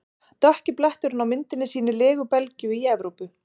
Dökki bletturinn á myndinni sýnir legu Belgíu í Evrópu.